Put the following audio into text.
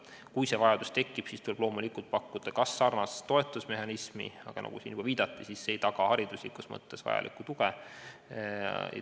Kui see vajadus tekib, siis tuleb loomulikult pakkuda sarnast toetusmehhanismi, aga nagu siin juba viidati, ei taga see hariduslikus mõttes vajalikku tuge.